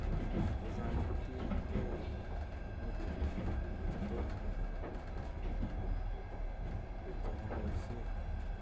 checha'ng kotiegei modulinik chetomo koborok anan ko chemaboishei